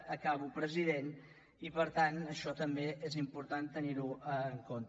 acabo president i per tant això també és important tenir ho en compte